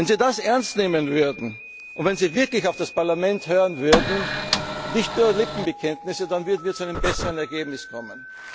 Wenn Sie das ernst nehmen würden, wenn Sie wirklich auf das Parlament hören und nicht nur Lippenbekenntnisse abgeben würden, dann würden wir zu einem besseren Ergebnis